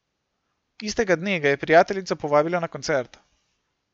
Istega dne ga je prijateljica povabila na koncert.